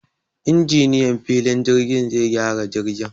Injiniyan filin jirgin zai gyara jirgin